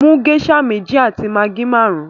Mú geisha mẹ̀jì àti maggi márùn!